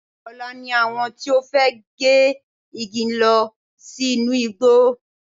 Ọ̀la ni àwọn tí ó fẹ́ gé igi ń lọ sí inú igbó.